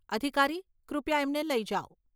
અધિકારી, કૃપયા એમને લઇ જાવ.